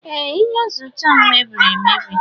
Ee, Iyuzucha m mebiri emebi.